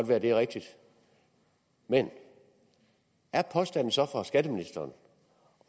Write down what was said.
være det er rigtigt men er påstanden så fra skatteministeren